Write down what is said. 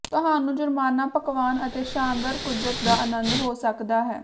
ਤੁਹਾਨੂੰ ਜੁਰਮਾਨਾ ਪਕਵਾਨ ਅਤੇ ਸ਼ਾਨਦਾਰ ਕੁਦਰਤ ਦਾ ਆਨੰਦ ਹੋ ਸਕਦਾ ਹੈ